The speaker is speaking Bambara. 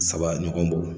Saba ɲɔgɔn bo